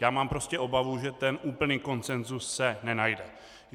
Já mám prostě obavu, že ten úplný konsenzus se nenajde.